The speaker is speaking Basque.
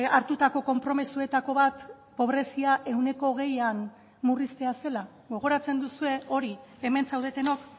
hartutako konpromisoetako bat pobrezia ehuneko hogeian murriztea zela gogoratzen duzue hori hemen zaudetenok